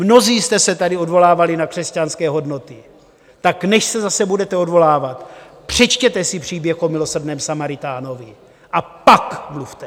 Mnozí jste se tady odvolávali na křesťanské hodnoty, tak než se zase budete odvolávat, přečtěte si příběh o milosrdném Samaritánovi, a pak mluvte.